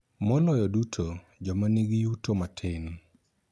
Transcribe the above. Maloyo duto, joma nigi yuto matin,